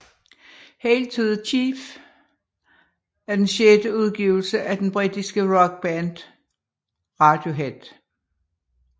Hail to the Thief er den sjette udgivelse fra det britiske rockband Radiohead